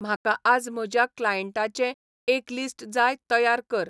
म्हाका आज म्हज्या क्लाएंन्टांचें एक लिस्ट जाय तयार कर